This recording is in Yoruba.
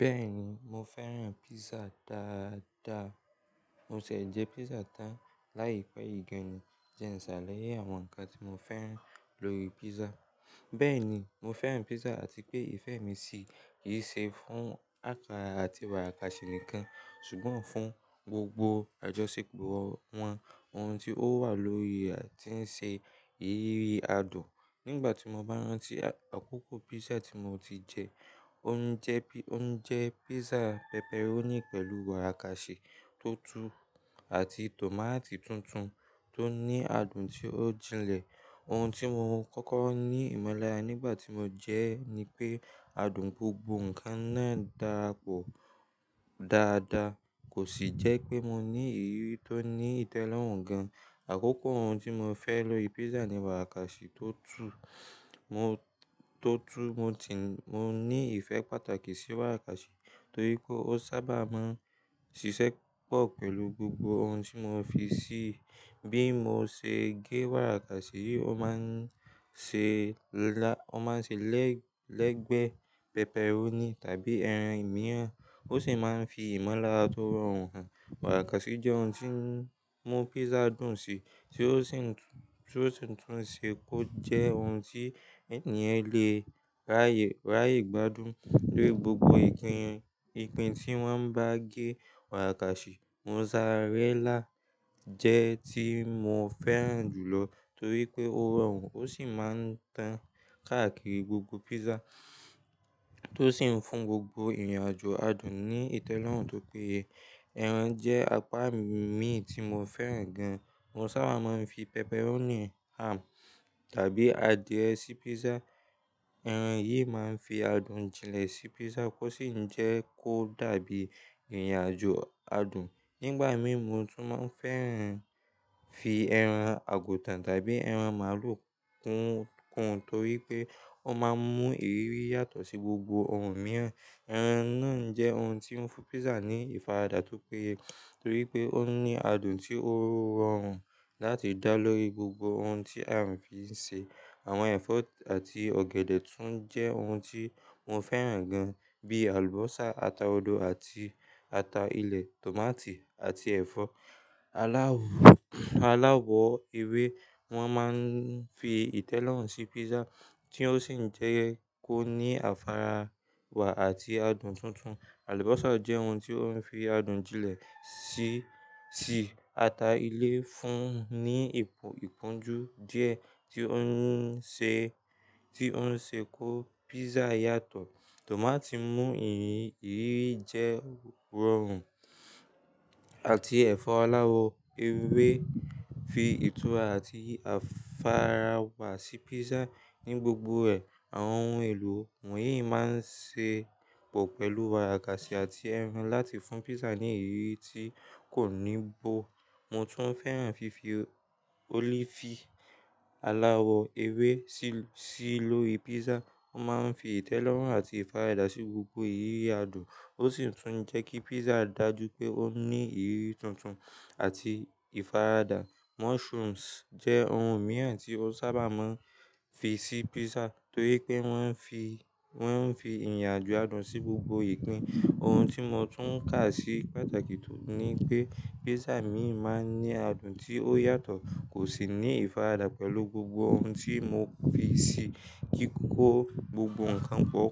Bẹ́ẹ̀ni, mo fẹ́ràn pizza dáadáa. Mo sì jẹ pizza tán láìpẹ́ yìí gan-an. Jẹ́ ǹsàlaye, àwọn ǹkan tí mo fẹ́ran lórí pizza. Bẹ́ẹ̀ni, mo fẹ́ràn pizza àti pé ìfẹ́ mi sì yí ṣe fún àkára àti wàárakàsì nìkan, ṣùgbọ́n fún gbogbo àjọṣepọ̀ wọn. Ohun tí ó wà lórí rẹ̀ ti ń ṣe ìrírí adùn. Nígbà tí mo bá rántí àkókò pizza tí mo ti jẹ, ó ń jẹ́ pi- ó ń jẹ́ pizza pepperoni pẹ̀lú wàárakàsì tutu àti tòmátì tuntun tó ní adùn tí ó jinlẹ̀. Ohun tí mo kọ́kọ́ ní ìmọ̀lára nígbà tí mo jẹ́ ẹ ni pé adùn gbogbo ǹkan náà darapọ̀ dáadáa. Kò sì jẹ́ pé mo ní ìrírí tó ní ìtẹ́lọ́rùn gan-an. Àkókò ohun tí mo fẹ́ lò lórí pizza ni wàákàsì tó tu. Mo tó tu. Mo ti-- mo ní ìfẹ́ pàtàkì sí wàárakàsì torí pé ó sábà máa ń ṣiṣẹ́ pọ̀ pẹ̀lú gbogbo ohun tí mo fi sí i. Bí mo ṣe gé wàárakàsì, ó máa ń ṣe lá-- ó máa ń ṣe lẹ́gbẹ́ pepperoni tàbí ẹran mìíràn, ó sì máa ń fi ìmọ̀lára tó rọrùn hàn. Wàárakàsì jẹ́ ohun tí ń mú pizza dùn sí, tí ó sì tún ṣe kó jẹ́ ohun tí ènìyàn lè ráyè, ráyè gbádùn lórí gbogbo ìpín, ìpín tí wọ́n bá gé. Wàárakàsì mozzarella jẹ́ tí mo fẹ́ràn jùlọ torí pé ó rọrùn, ó sì máa ń tán káàkiri gbogbo pizza tó sì ń fún gbogbo ìrìnàjò adùn ní ìtẹ́lọ́rùn tó péye. Ẹran jẹ́ apá mí tí mo fẹ́ràn gan-an. Mo sábà máa ń fi pepperoni, ham tàbí adìẹ sí pizza. Ẹran yìí máa ń fi adùn jinlẹ̀ sí pizza kó sì ń jẹ́ kó dàbí ìrìnàjò adùn. Nígbà mìíràn, mo tún máa ń fẹ́ràn fi ẹran àgùntàn tàbí ẹran màlúù kún, kún torí pé ó máa ń mú ìrírí yàtọ̀ sí gbogbo ohun mìíràn. Ẹran náà jẹ́ ohun tí ń fún pizza ní ìfaradà tó péye torí pé ó ní adùn tí ó rọrùn láti dá lórí gbogbo ohun tí a ń fi ṣe. Àwọn ẹ̀fọ́ àti ọ̀gẹ̀dẹ̀ tún jẹ́ ohun tí mo fẹ́ràn gan-an. Bíi àlùbọ́sà, ata odò àti ata ilẹ̀, tòmátì àti ẹ̀fọ́ aláwọ̀, aláwọ̀ ewé wọ́n máa ń fi ìtẹ́lọ́rùn sí pizza tí ó sì ń jẹ́ kó ní àfàrà wá àti adùn tuntun. Àlùbọ́sà jẹ́ ohun tí ó ń fi adùn jinlẹ̀ sí, sí ata ilé fún ní ìpọ́njú díẹ̀ tí ó ń ṣe, tí ó ń ṣe kó pizza yàtọ̀. Tòmátì mú ìrírí jẹ́ rọrùn àti ẹ̀fọ́ aláwọ̀ ewé fi ìtura àti àfàrà wá sí pizza ní gbogbo ẹ̀. Àwọn ohun èlò wọ̀nyí máa ń ṣe pọ̀ pẹ̀lú wàárakàsì àti ẹran láti fún pizza ní ìrírí tí kò ní bọ̀. Mo tún fẹ́ràn fífi ólífì aláwọ̀ ewé sí, sí lórí pizza. Ó máa ń fi ìtẹ́lọ́rùn àti ìfaradà sí gbogbo ìrírí adùn, ó sì tún ń jẹ́ kí pizza dà jú pé ó ní ìrírí tuntun àti ìfaradà. Mushrooms jẹ́ ohun mìíràn tí ó sábà máa ń fi sí pizza torí pé wọ́n ń fi, wọ́n ń fi ìrìnàjò adùn sí gbogbo ìpín. Ohun tí mo tún kà sí pàtàkì ni pé pizza mi máa ń ní adùn tí ó yàtọ̀ kò sì ní ìfaradà pẹ̀lú gbogbo ohun tí mo fi sí i. Kí kó gbogbo ǹkan pọ̀,